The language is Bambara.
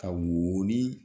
Ka wooni